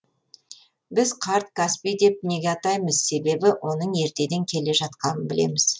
біз қарт каспий деп неге атаймыз себебі оның ертеден келе жатқанын білеміз